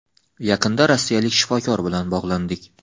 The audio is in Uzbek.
Yaqinda rossiyalik shifokor bilan bog‘landik.